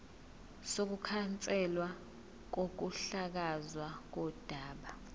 sokukhanselwa kokuhlakazwa kodaba